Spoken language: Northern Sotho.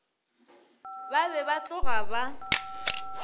ba be ba tloga ba